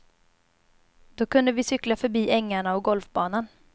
Då kunde vi cykla förbi ängarna och golfbanan.